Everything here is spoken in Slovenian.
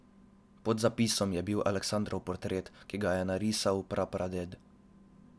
Pod zapisom je bil Aleksandrov portret, ki ga je narisal prapraded.